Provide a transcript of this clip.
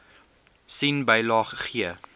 sien bylaag g